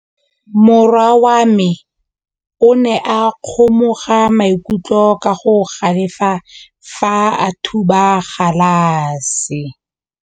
Morwa wa me o ne a kgomoga maikutlo ka go galefa fa a thuba galase.